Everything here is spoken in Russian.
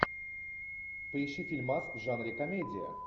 поищи фильмас в жанре комедия